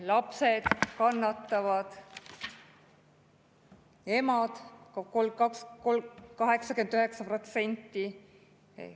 Lapsed kannatavad, emad, 89%.